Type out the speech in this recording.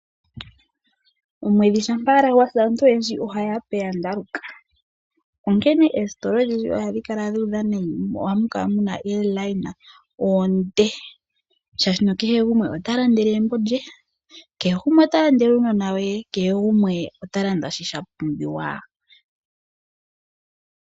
Omwedhi shampa wala gwasi aantu oyendji oha yapeya ndaluka? Onkene eesitola odhindji ohadhi kala dhudha nayi mo ohamukala muna omikweyo omile shashi kehe gumwe otalandele egumbo lye, kehe gumwe otalandele uunona we , kehe gumwe otalanda shi shapumbiwa.